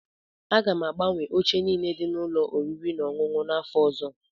Aga m agbanwe oche niile dị n'ụlọ oriri na ọṅụṅụ m n'afọ ọzọ.